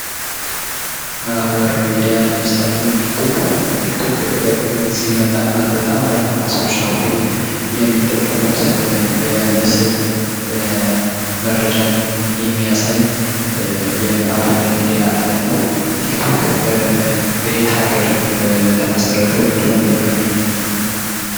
ማህበራዊ ሚዲያ ለምሳሌ የቲክቶክ ቲክቶክ በቅርብ ጊዜ የመጣ እና በጣም በርካታ ሰዎች አሁን ላይ የሚጠቀሙት የምስል መረጃን የሚያሳይ የማህበራዊ ሚዲያ አይነት ነው። ቲክቶክ በየት አገር ተመሰረተ ወይም ደግሞ በየት ሀገር ይገኛል?